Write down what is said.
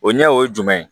O ɲɛ o ye jumɛn ye